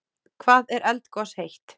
Hvað er eldgos heitt?